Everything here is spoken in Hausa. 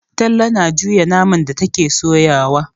Talle na juya naman da take soyawa.